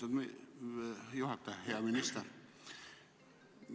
Aitäh, lugupeetud juhataja!